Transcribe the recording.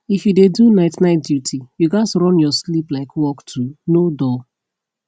if you dey do night night duty you gats run your sleep like work too no dull